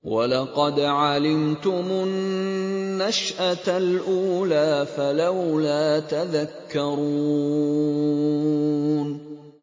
وَلَقَدْ عَلِمْتُمُ النَّشْأَةَ الْأُولَىٰ فَلَوْلَا تَذَكَّرُونَ